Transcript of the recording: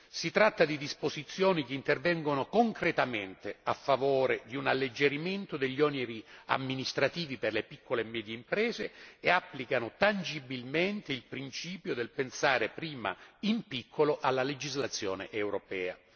Si tratta di disposizioni che intervengono concretamente a favore di un alleggerimento degli oneri amministrativi per le piccole e medie imprese e applicano tangibilmente il principio del pensare prima in piccolo nella legislazione europea.